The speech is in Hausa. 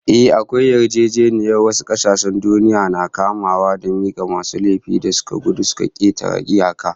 Ehh, akwai yarjejeniyar wasu kasashen duniya na kamawa da mika masu laifin da suka gudu suka ketare iyaka